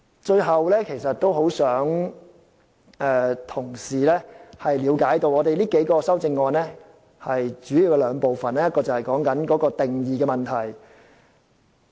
最後，我很希望同事能夠了解，我們提出的這數項修正案主要有兩部分，第一是定義的問題。